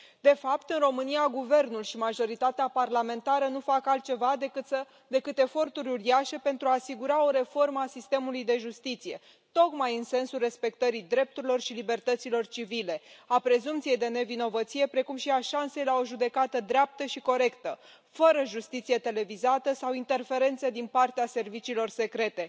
De fapt, în România guvernul și majoritatea parlamentară nu fac altceva decât eforturi uriașe pentru a asigura o reformă a sistemului de justiție, tocmai în sensul respectării drepturilor și libertăților civile, a prezumției de nevinovăție precum și a șansei la o judecată dreaptă și corectă, fără justiție televizată sau interferențe din partea serviciilor secrete.